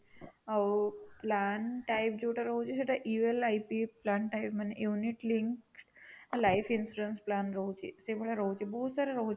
ଆଉ plan type ଯୋଉଟା ରହୁଛି ସେଇଟା ULIP plan type ମାନେ unit link life insurance plan ରହୁଛି ସେଇ ଭଳିଆ ରହୁଛି ବହୁତ ସାରା ରହୁଛି